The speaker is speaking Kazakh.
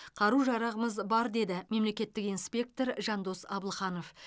қару жарағымыз бар деді мемлекеттік инспектор жандос абылханов